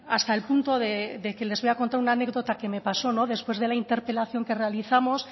hasta el punto de que les voy a contar una anécdota que me pasó después de la interpelación que realizamos